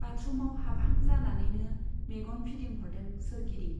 बाथरुमाव हाबहां जानानैनो मेगन फिदिंहरदों सोरगिदिं।